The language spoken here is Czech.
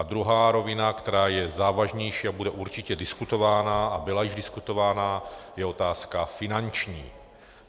A druhá rovina, která je závažnější a bude určitě diskutována a byla již diskutována, je otázka finanční.